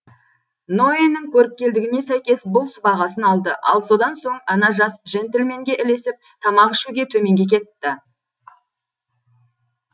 ноэнің көріпкелдігіне сәйкес бұл сыбағасын алды ал содан соң ана жас жентльменге ілесіп тамақ ішуге төменге кетті